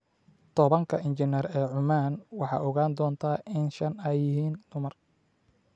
Tobaanka injineer ee Cumaan, waxaad ogaan doontaa in shan ay yihiin dumar.